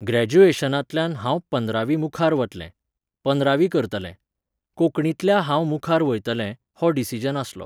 ग्रेज्युएशनांतल्यान हांव पंदरावी मुखार वतलें. पंदरावी करतलें. कोंकणीतल्या हांव मुखार वयतलें, हो decision आसलो